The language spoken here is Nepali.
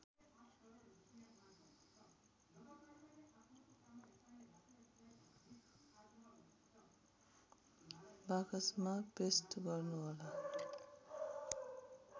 बाकसमा पेस्ट गर्नुहोला